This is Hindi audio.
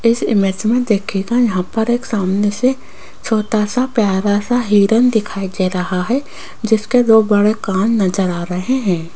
इस इमेज में देखिएगा यहां पर एक सामने से छोटा सा प्यारा सा हिरण दिखाई दे रहा है जिसके दो बड़े कान नजर आ रहे हैं।